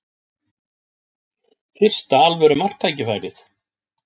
Fyrsta alvöru marktækifærið